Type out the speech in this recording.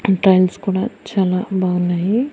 Tiles కూడా చాలా బావున్నాయి.